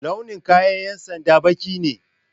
Launin kayan ƴan sanda baƙi ne